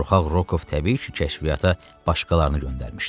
Qorxaq Rokov təbii ki, kəşfiyyata başqalarını göndərmişdi.